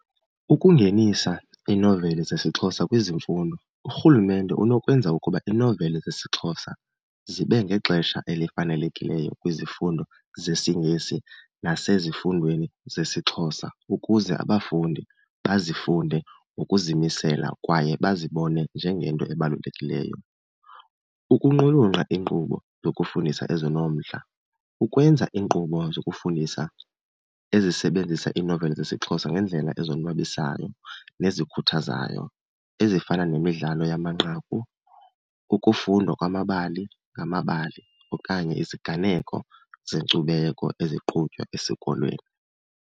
Ukungenisa iinoveli zesiXhosa kwizimfundo, urhulumente unokwenza ukuba iinoveli zesiXhosa zibe ngexesha elifanelekileyo kwizifundo zesiNgesi nasezifundweni zesiXhosa ukuze abafundi bazifunde ngokuzimisela kwaye bazibone njengento ebalulekileyo. Ukuqulunqa iinkqubo zokufundisa ezinomdla, ukwenza iinkqubo zokufundisa ezisebenzisa iinoveli zesiXhosa ngeendlela ezonwabisayo nezikhuthazayo ezifana nemidlalo yamanqaku, ukufundwa kwamabali ngamabali okanye iziganeko zenkcubeko eziqhutywa esikolweni.